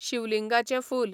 शीवलिंगाचें फूल